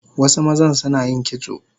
Wasu mazan Sunayin kitso